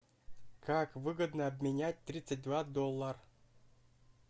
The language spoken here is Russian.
как выгодно обменять тридцать два доллар